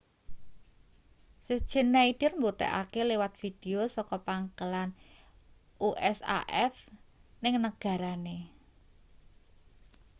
schneider mbuktekake liwat video saka pangkalan usaf ning negarane